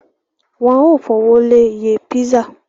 Wọ́n ó fowó lé iye písà